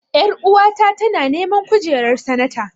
Ƴaruwa ta tana neman kujerar sanata.